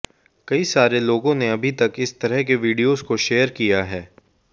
कई सारे लोगों ने अभी तक इस तरह के वीडियोज को शेयर किया है